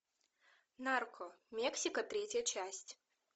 нарко мексика третья часть